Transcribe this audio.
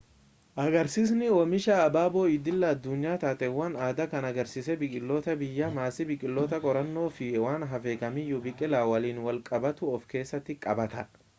agarsiisni oomisha abaaboo idila-addunyaa taateewwan addaa kan agariisa biqilootaa biyyaa maasii biqiloota qorannoo fi waan hafe kamiyyuu biqilaa waliin wal qabatu of-keessatti qabata